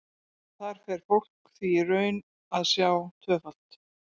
Þar fer fólk því í raun að sjá tvöfalt.